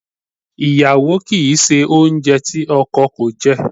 Iyawo ki i se ounje ti oko ko je.